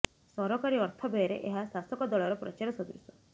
ସରକାରୀ ଅର୍ଥ ବ୍ୟୟରେ ଏହା ଶାସକ ଦଳର ପ୍ରଚାର ସଦୃଶ